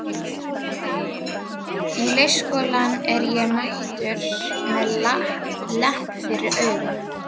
Í leikskólann er ég mættur með lepp fyrir auga.